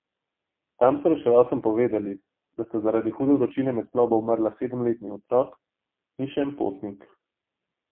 Tam so reševalcem povedali, da sta zaradi hude vročine med plovbo umrla sedemletni otrok in še en potnik.